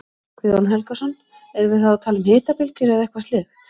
Guðjón Helgason: Erum við þá að tala um hitabylgjur eða eitthvað slíkt?